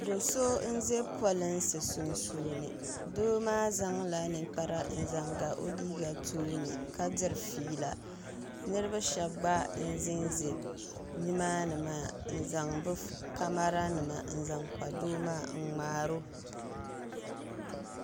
Doo so n zɛ polinsi sunsuuni doo maa zaŋ la ninkpara n zaŋ ga o liiga tooni ka diri feela niriba shɛba gba n zɛ nzɛya ni maa ni maa. zaŋ bi camara nima n zaŋ kpa doo maa n mŋaari o.